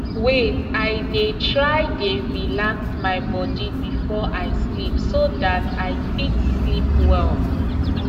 wait i dey try dey relax my body before i sleep so that i fit sleep well